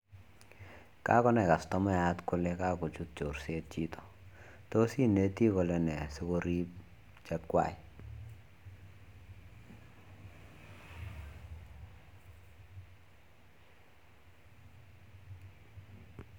Kakonai customayat kole kakochut chorset chito tos ineti kolene sikorip chekwai?